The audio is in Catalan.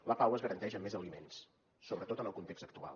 la pau es garanteix amb més aliments sobretot en el context actual